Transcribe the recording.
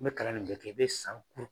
Ni be kalan nin bɛɛ kɛ, i be san